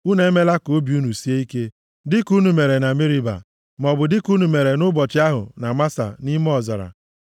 “Unu emela ka obi unu sie ike dịka unu mere na Meriba, maọbụ dịka unu mere nʼụbọchị ahụ na Masa nʼime ọzara,